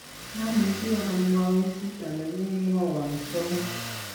mamuchi amwau kito ne komwowon Tom